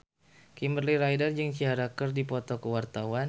Kimberly Ryder jeung Ciara keur dipoto ku wartawan